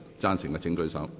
贊成的請舉手。